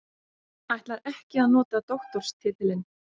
Ætlar ekki að nota doktorstitilinn